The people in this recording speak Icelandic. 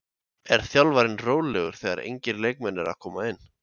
Er þjálfarinn rólegur þegar engir leikmenn eru að koma inn?